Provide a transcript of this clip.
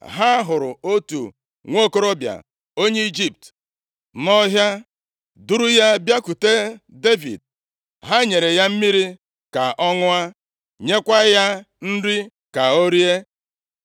Ha hụrụ otu nwokorobịa onye Ijipt nʼọhịa, duuru ya bịakwute Devid. Ha nyere ya mmiri ka ọ ṅụọ, nyekwa ya nri ka o rie.